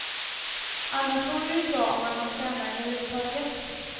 Annars vore det ju bra om man hann träna överhuvudtaget.